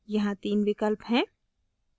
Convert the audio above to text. यहाँ तीन विकल्प हैं